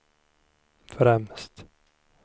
främst